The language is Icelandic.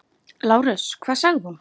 LÁRUS: Hvað sagði hún?